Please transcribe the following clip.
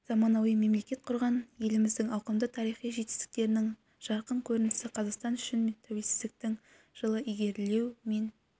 заманауи мемлекет құрған еліміздің ауқымды тарихи жетістіктерінің жарқын көрінісі қазақстан үшін тәуелсіздіктің жылы ілгерілеу мен